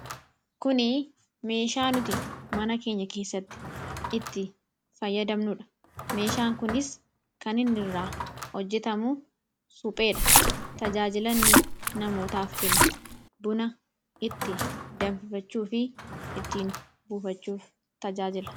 Kuni meeshaa nuti mana keenya keessatti itti fayyadamnudha. Meeshaan kunis kan inni irraa hijjetamu supheedha. Tajaajila inni kennu buna ittiin danfifachuu fi ittiin buufachuuf fayyadamama.